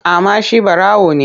Kama shi ɓarawo ne!